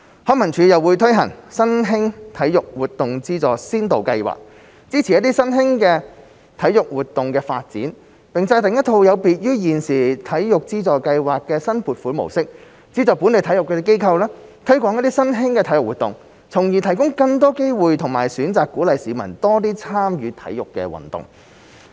康文署又會推行新興體育活動資助先導計劃，支持新興體育活動的發展，並制訂一套有別於現時體育資助計劃的新撥款模式，資助本地體育機構，推廣新興體育活動，從而提供更多機會和選擇，鼓勵市民多參與體育運動。